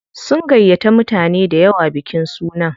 Sun gayyata mutane dayawa bikin sunan.